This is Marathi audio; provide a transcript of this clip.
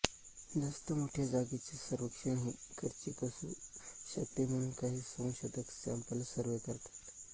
जास्त मोठ्या जागेचे सर्वेक्षण हे खर्चिक असू शकते म्हणून काही संशोधक सॅंपल सर्व्हे करतात